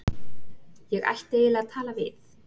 Ég ætti eiginlega að tala við